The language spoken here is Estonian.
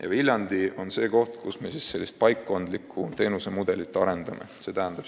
Ja Viljandi on koht, kus me sellist paikkondlikku teenusemudelit arendame.